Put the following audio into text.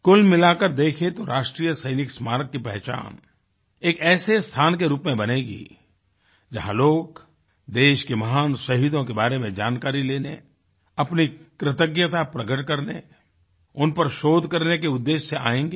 कुल मिला कर देखें तो राष्ट्रीय सैनिक स्मारक की पहचान एक ऐसे स्थान के रूप में बनेगी जहाँ लोग देश के महान शहीदों के बारे में जानकारी लेने अपनी कृतज्ञता प्रकट करने उन पर शोध करने के उद्देश्य से आयेंगे